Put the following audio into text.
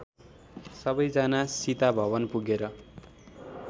सबैजना सीताभवन पुगेर